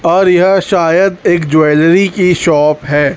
और यह शायद एक ज्वैलरी की शॉप है।